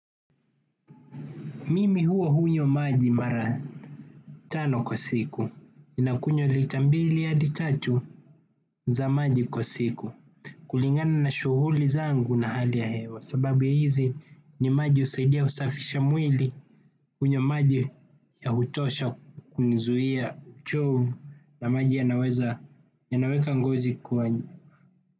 Mimi huwa hunywa maji mara tano kwa siku, ninakunywa lita mbili hadi tatu za maji kwa siku. Kulingana na shughuli zangu na hali ya hewa, sababu hizi ni maji husaidia usafisha mwili hunywa maji ya hutosha kunizuia uchovu na maji yanaweka ngozi kwa.